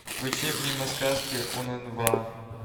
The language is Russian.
включи мимо сказки уннва